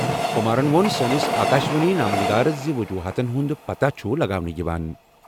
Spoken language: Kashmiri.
کُمارن ووٚن سٲنِس آکاشوانی نامہ نگارس زِ وجوہاتن ہُنٛد پتہ چھُ لگاونہٕ یِوان۔